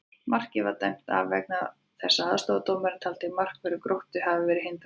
Markið var dæmt af vegna þess að aðstoðardómarinn taldi að markvörður Gróttu hefði verið hindraður!